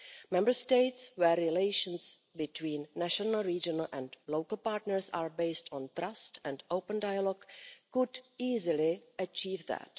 Member States where relations between national, regional and local partners are based on trust and open dialogue could easily achieve that.